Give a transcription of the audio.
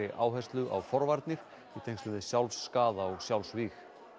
áherslu á forvarnir í tengslum við sjálfsskaða og sjálfsvíg